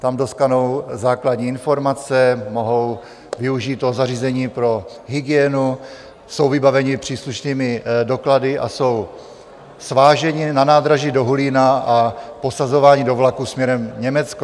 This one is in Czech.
Tam dostanou základní informace, mohou využít toho zařízení pro hygienu, jsou vybaveni příslušnými doklady a jsou sváženi na nádraží do Hulína a posazováni do vlaku směrem Německo.